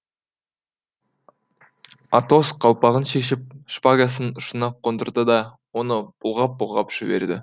атос қалпағын шешіп шпагасының ұшына қондырды да оны бұлғап бұлғап жіберді